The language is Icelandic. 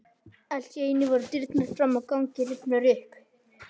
Allt í einu voru dyrnar fram á ganginn rifnar upp.